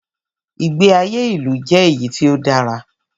Ìgbé ayé ilu jẹ́ èyí tí o dára.